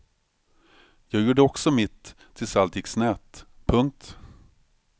Jag gjorde också mitt tills allt gick snett. punkt